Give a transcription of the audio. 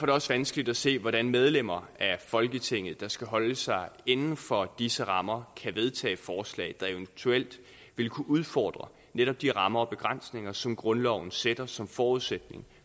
det også vanskeligt at se hvordan medlemmer af folketinget der skal holde sig inden for disse rammer kan vedtage et forslag der eventuelt ville kunne udfordre netop de rammer og begrænsninger som grundloven sætter som forudsætning